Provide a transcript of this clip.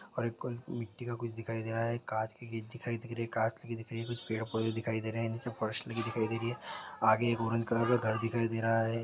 और एक कोई मिट्टी का कुछ दिखाई दे रहा है काँच की गिद दिखाई दे रही है कास्त दिख रही कुछ पेड़ - पौधे दिखाई दे रहे है सब कॉस्ट्ली दिखाई दे रही है आगे एक औरत घर घर दिखाई दे रहा हैं।